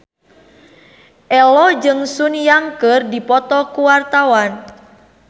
Ello jeung Sun Yang keur dipoto ku wartawan